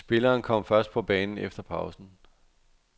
Spilleren kom først på banen efter pausen.